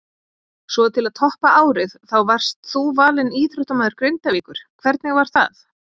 Svo til að toppa árið þá varst þú valinn íþróttamaður Grindavíkur, hvernig var það?